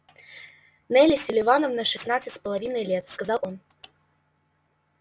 нелли селивановна шестнадцать с половиной лет сказал он